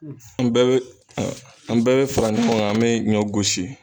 An bɛ be an bɛɛ be fara ɲɔgɔn kan an be ɲɔ gosi